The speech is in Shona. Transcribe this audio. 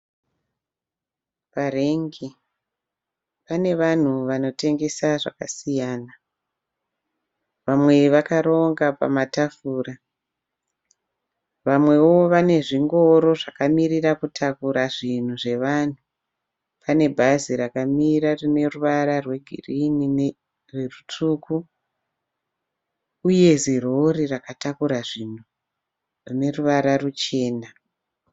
Parengi pane vanhu vanotengesa zvakasiyana. Vamwe vakaronga pamatafura. Vamwewo vane zvingoro zvakamirira kutakura zvinhu zvevanhu. Pane bhazi rakamira rine ruvara rwe girini nerutsvuku uye zirori rakatakura zvinhu rine ruvara ruchena.